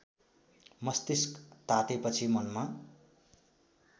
मस्तिष्क तातेपछि मनमा